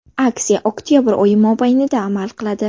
Aksiya oktabr oyi mobaynida amal qiladi!